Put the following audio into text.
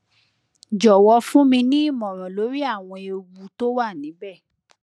jọwọ fún mi ní ìmọràn lórí àwọn ewu tó wà níbẹ